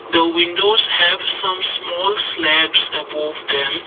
the windows have some small slabs above them.